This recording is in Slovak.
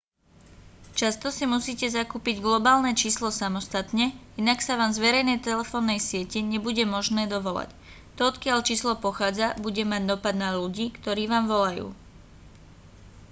často si musíte zakúpiť globálne číslo samostatne inak sa vám z verejnej telefónnej siete nebude možné dovolať to odkiaľ číslo pochádza bude mať dopad na ľudí ktorí vám volajú